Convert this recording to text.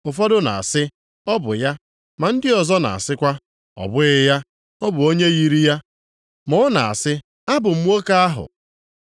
Ụfọdụ na-asị, “Ọ bụ ya.” Ma ndị ọzọ na-asịkwa, “Ọ bụghị ya. Ọ bụ onye yiri ya.” Ma ọ na-asị, “Abụ m nwoke ahụ.”